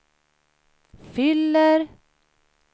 fyller